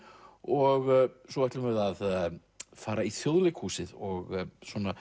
og svo ætlum við að fara í Þjóðleikhúsið og